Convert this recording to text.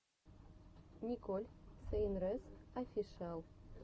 николь сейнрэс офишиал